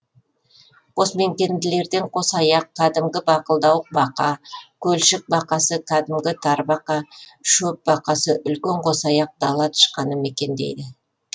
қосмекенділерден қосаяқ кәдімгі бақылдауық бақа көлшік бақасы кәдімгі тарбақа шөп бақасы үлкен қосаяқ дала тышқаны мекендейді